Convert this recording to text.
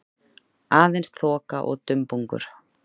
Aðeins þoka og dumbungur.